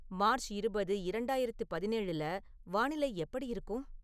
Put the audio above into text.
March இருபது, இரண்டாயிரத்து பதினேழுல வானிலை எப்படி இருக்கும்